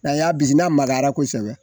N'an y'a bisi n'a magayara kosɛbɛ